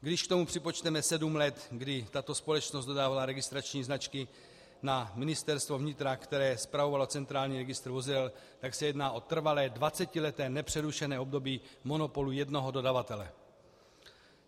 Když k tomu připočteme sedm let, kdy tato společnost dodávala registrační značky na Ministerstvo vnitra, které spravovalo centrální registr vozidel, tak se jedná o trvalé dvacetileté nepřerušené období monopolu jednoho dodavatele.